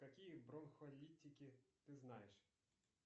какие бронхолитики ты знаешь